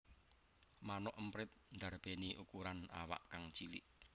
Manuk emprit ndarbèni ukuran awak kang cilik